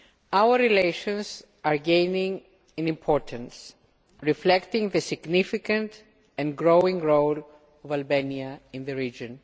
Our relations are gaining in importance, reflecting the significant and growing role of Albania in the region.